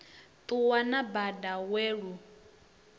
ṱuwa na bada we lu